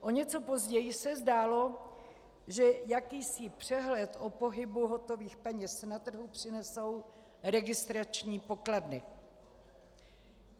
O něco později se zdálo, že jakýsi přehled o pohybu hotových peněz na trhu přinesou registrační pokladny.